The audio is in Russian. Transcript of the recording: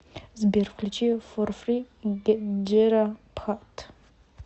сбер включи форфри джера пхат